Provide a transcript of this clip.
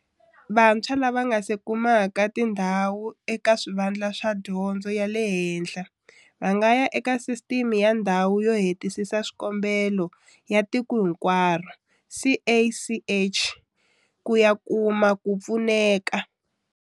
Vantshwa lava nga se kumaka tindhawu eka swivandla swa dyondzo ya le henhla va nga ya eka Sisiteme ya Ndhawu yo Hetisisa Swikombelo ya Tiko Hinkwaro, CACH, ku ya kuma ku pfuneka.